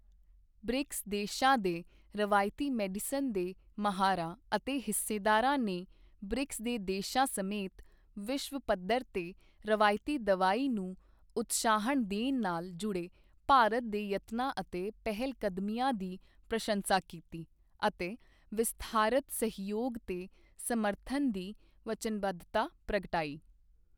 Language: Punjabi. ਬ੍ਰਿਕਸ ਦੇਸ਼ਾਂ ਦੇ ਰਵਾਇਤੀ ਮੈਡੀਸਨ ਦੇ ਮਾਹਰਾਂ ਅਤੇ ਹਿੱਸੇਦਾਰਾਂ ਨੇ ਬ੍ਰਿਕਸ ਦੇ ਦੇਸ਼ਾਂ ਸਮੇਤ ਵਿਸ਼ਵ ਪੱਧਰ ਤੇ ਰਵਾਇਤੀ ਦਵਾਈ ਨੂੰ ਉਤਸ਼ਾਹਨ ਦੇਣ ਨਾਲ ਜੁੜੇ ਭਾਰਤ ਦੇ ਯਤਨਾਂ ਅਤੇ ਪਹਿਲਕਦਮੀਆਂ ਦੀ ਪ੍ਰਸੰਸਾ ਕੀਤੀ ਅਤੇ ਵਿਸਥਾਰਤ ਸਹਿਯੋਗ ਤੇ ਸਮਰਥਨ ਦੀ ਵਚਨਬੱਧਤਾ ਪ੍ਰਗਟਾਈ।